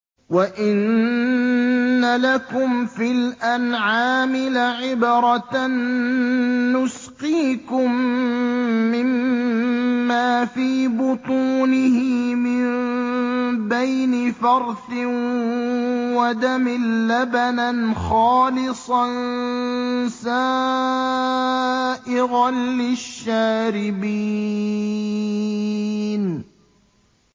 وَإِنَّ لَكُمْ فِي الْأَنْعَامِ لَعِبْرَةً ۖ نُّسْقِيكُم مِّمَّا فِي بُطُونِهِ مِن بَيْنِ فَرْثٍ وَدَمٍ لَّبَنًا خَالِصًا سَائِغًا لِّلشَّارِبِينَ